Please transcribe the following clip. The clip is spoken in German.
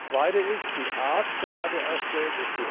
Das Zweite ist die Art der ADR Stellen.